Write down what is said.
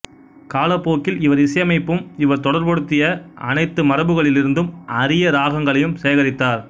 காலப்போக்கில் இவர் இசையமைப்பையும் இவர் தொடர்புபடுத்திய அனைத்து மரபுகளிலிருந்தும் அரிய ராகங்களையும் சேகரித்தார்